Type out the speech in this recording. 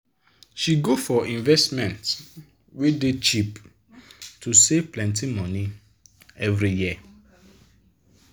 she go for investment wey dey cheap to save plenti money every year.